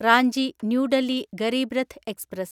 Ranchi new Delhi Garib Rath express